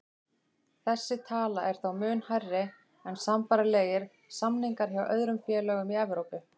Þessi tala er þó mun hærri en sambærilegir samningar hjá öðrum félögum í Evrópu.